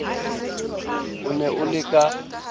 o ne o le ka